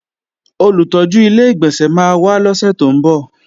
Olùtọ́jú Ilé-ìgbọ̀nsẹ̀ máa wá lọ́sè tó ń bọ̀